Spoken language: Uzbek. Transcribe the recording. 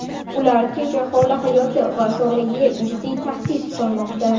Ular tinch aholi hayoti va sog‘lig‘iga jiddiy tahdid solmoqda.